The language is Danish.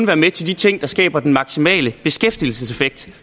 være med til de ting der skaber den maksimale beskæftigelseseffekt